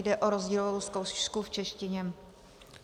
Jde o rozdílovou zkoušku v češtině.